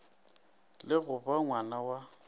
le go ba ngwna wa